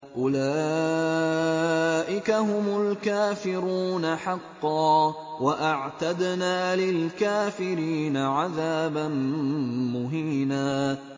أُولَٰئِكَ هُمُ الْكَافِرُونَ حَقًّا ۚ وَأَعْتَدْنَا لِلْكَافِرِينَ عَذَابًا مُّهِينًا